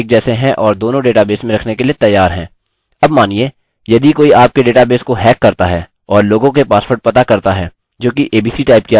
अब मानिए यदि कोई आपके डेटाबेस को हैक करता है और लोगों के पासवर्ड पता करता है जोकि abc टाइप किया गया है वह इसे आसानी से पा सकते हैं